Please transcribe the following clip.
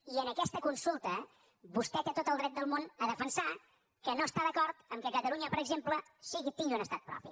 i en aquesta consulta vostè té tot el dret de món a defensar que no està d’acord que catalunya per exemple tingui un estat propi